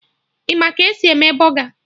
Ị ma ka esi eme bọga?